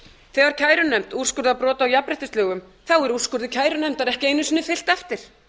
þegar kærunefnd úrskurðar brot á jafnréttislögum er úrskurði kærunefndar ekki einu sinni fylgt eftir